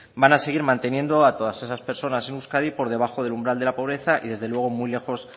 van a seguir manteniendo a todas esas personas en euskadi por debajo del umbral de la pobreza y desde luego muy lejos